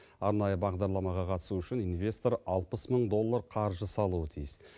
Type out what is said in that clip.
арнайы бағдарламаға қатысу үшін инвестор алпыс мың доллар қаржы салуы тиіс